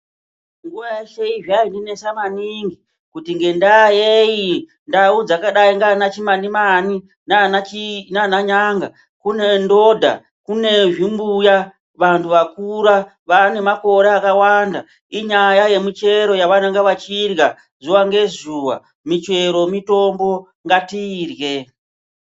Nguwa yeshe zvaindinesa maningi kuti ngenda yei ndau dzakadai ndiana Chimanimani nana Nyanga kune ndodha, kune zvimbuya vantu vakura vane makore akawanda inyaya yemichero yavanenge vachirya zuwa ngezuwa. Michero mitombo ngatiyirye.